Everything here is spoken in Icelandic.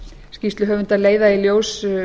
skýrsluhöfundar leiða í ljós